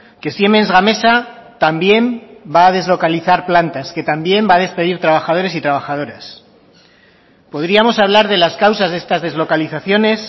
que siemens gamesa también va a deslocalizar plantas que también va a despedir trabajadores y trabajadoras podríamos hablar de las causas de estas deslocalizaciones